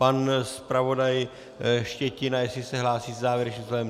Pan zpravodaj Štětina, jestli se hlásí se závěrečným slovem?